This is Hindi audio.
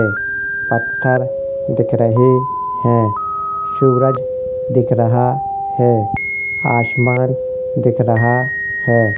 पत्थर दिख रहे हैं। सूरज दिख रहा है आसमान दिख रहा है।